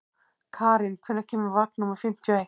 Karín, hvenær kemur vagn númer fimmtíu og eitt?